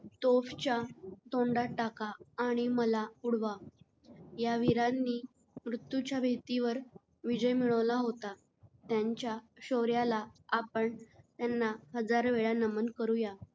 तोफ च्या तोंडात टाका आणि मला उडवा